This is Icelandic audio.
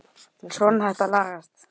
Svona, þetta lagast